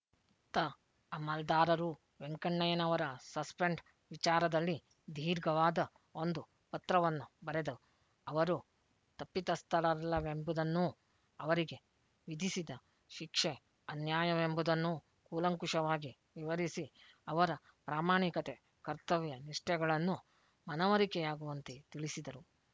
ಇತ್ತ ಅಮಲ್ದಾರರೂ ವೆಂಕಣ್ಣಯ್ಯನವರ ಸಸ್ಪೆಂಡ್ ವಿಚಾರದಲ್ಲಿ ದೀರ್ಘವಾದ ಒಂದು ಪತ್ರವನ್ನು ಬರೆದು ಅವರು ತಪ್ಪಿತಸ್ಥರಲ್ಲವೆಂಬುದನ್ನೂ ಅವರಿಗೆ ವಿಧಿಸಿದ ಶಿಕ್ಷೆ ಅನ್ಯಾಯವೆಂಬುದನ್ನೂ ಕೂಲಂಕುಷವಾಗಿ ವಿವರಿಸಿ ಅವರ ಪ್ರಾಮಾಣಿಕತೆ ಕರ್ತವ್ಯನಿಷ್ಠೆಗಳನ್ನು ಮನವರಿಕೆಯಾಗುವಂತೆ ತಿಳಿಸಿದರು